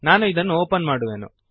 ನಾನು ಇದನ್ನು ಓಪನ್ ಮಾಡುವೆನು